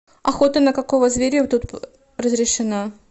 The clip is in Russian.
охота на какого зверя тут разрешена